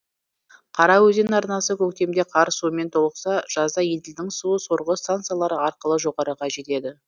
қараөзен арнасы көктемде қар суымен толықса жазда еділдің суы сорғы стансалары арқылы жоғарыға жетеді